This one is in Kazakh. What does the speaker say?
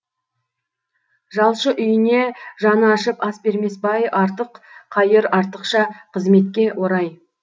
жалшы үйіне жаны ашып ас бермес бай артық қайыр артықша қызметке орай